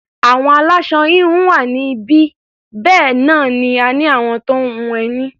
Àwọn aláṣọ-híhun wà níbí, bẹ́ẹ̀ náà ni a ní àwọn tó ń hun ẹní.